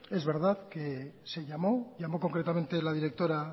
es verdad que se llamó llamó concretamente la directora